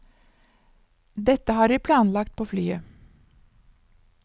Dette har vi planlagt på flyet.